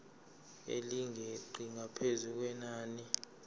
elingeqi ngaphezu kwenani